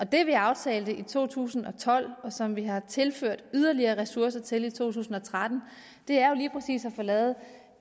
det vi aftalte i to tusind og tolv og som vi har tilført yderligere ressourcer til i to tusind og tretten er jo lige præcis at få lavet